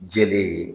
Jɛlen ye